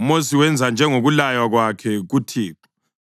UMosi wenza njengokulaywa kwakhe kuThixo: